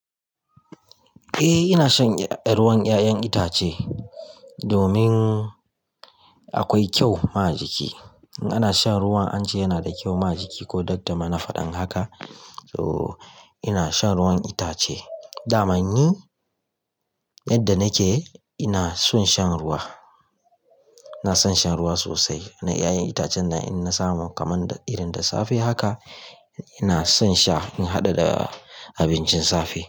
Eh ina shan ruwan 'ya'yan itace domin akwai kyau ma jiki. Ana shan ruwan an ce yana da kyau ma jiki ko Dr. Mana faɗan haka. So ina shan ruwan itace. Damani yadda nake ina son shan ruwa. Ina son shan ruwa sosai na 'ya'yan itacen nan in na samu kaman irin da safe haka ina son sha in haɗa da abincin safe.